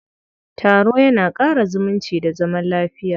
Taro ya na ƙara zumunci da zaman lafiya.